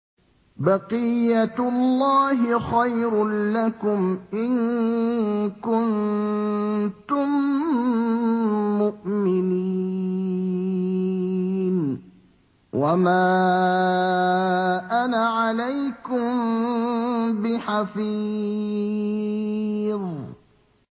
بَقِيَّتُ اللَّهِ خَيْرٌ لَّكُمْ إِن كُنتُم مُّؤْمِنِينَ ۚ وَمَا أَنَا عَلَيْكُم بِحَفِيظٍ